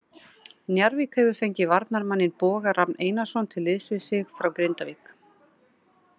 Njarðvík hefur fengið varnarmanninn Boga Rafn Einarsson til liðs við sig frá Grindavík.